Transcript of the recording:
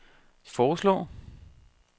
foreslår